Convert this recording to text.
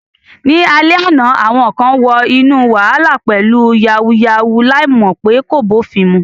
Ní alẹ́ àná, àwọn kan wọ inú wàhálà pẹ̀lú "yàwúyáwù ," láì mọ̀ pé kò bófin mu.